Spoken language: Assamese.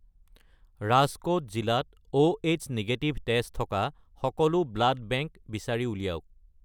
ৰাজকোট জিলাত Oh নিগেটিভ তেজ থকা সকলো ব্লাড বেংক বিচাৰি উলিয়াওক